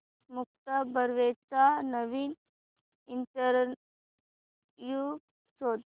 मुक्ता बर्वेचा नवीन इंटरव्ह्यु शोध